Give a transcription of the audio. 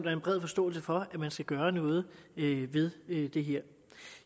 er en bred forståelse for at man skal gøre noget ved det her